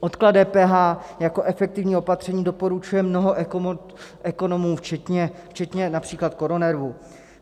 Odklad DPH jako efektivní opatření doporučuje mnoho ekonomů včetně například KoroNERVu.